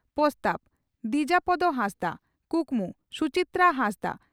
ᱯᱚᱥᱛᱟᱣ (ᱫᱤᱡᱟᱯᱚᱫᱚ ᱦᱟᱸᱥᱫᱟ) ᱠᱩᱠᱢᱩ (ᱥᱩᱪᱤᱛᱨᱟ ᱦᱟᱸᱥᱫᱟ)